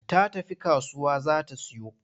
Ta tafi kasuwa za ta siyo.